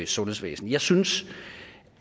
sundhedsvæsen jeg synes